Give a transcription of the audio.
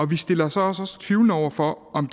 vi stiller os også tvivlende over for om